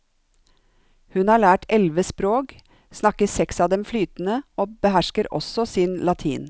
Hun har lært elleve språk, snakker seks av dem flytende og behersker også sin latin.